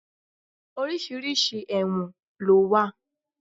Oríṣiríṣi ẹ̀wọ̀n ló wà.